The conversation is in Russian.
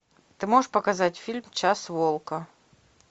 ты можешь показать фильм час волка